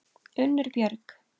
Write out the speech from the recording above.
Unnur Björg.